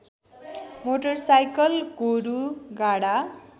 motorcycle गोरू गाढा